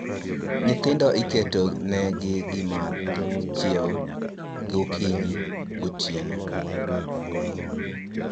Nyithindo iketo ne gi gimadhi chiew gi gokinyi , gotieno